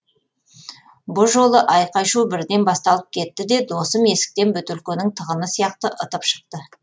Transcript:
бұ жолы айқай шу бірден басталып кетті де досым есіктен бөтелкенің тығыны сияқты ытып шықты